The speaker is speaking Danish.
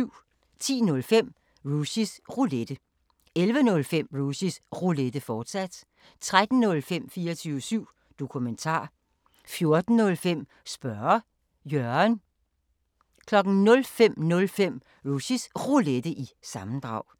10:05: Rushys Roulette 11:05: Rushys Roulette, fortsat 13:05: 24syv Dokumentar 14:05: Spørge Jørgen 05:05: Rushys Roulette – sammendrag